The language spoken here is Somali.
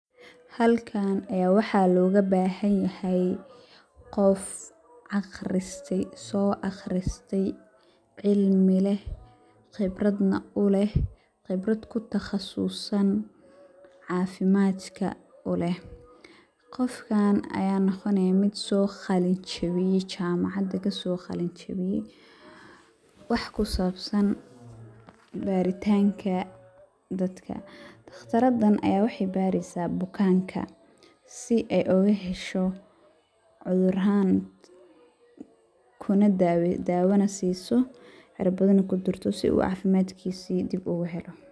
Halkan ee waxa loga bahan yahay qof aqriste, soo aqriste cilmi leh qibrad na u leh, qibrad kutaqasuusan caafimaadka u leh, qofkan aya noqone qof soo qalin jabiye jamacada kaso qalin jebiye ,wax ku sabsan bari tanka dadka ,taqtaradan aya waxay barisaa bukanka si ay oga hesho cuduran daawa na si soo curbadana kudurto si uu caafimaadkisi dib ogu helo